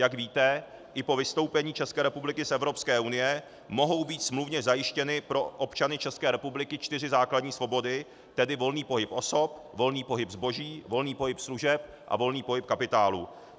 Jak víte, i po vystoupení České republiky z Evropské unie mohou být smluvně zajištěny pro občany České republiky čtyři základní svobody, tedy volný pohyb osob, volný pohyb zboží, volný pohyb služeb a volný pohyb kapitálu.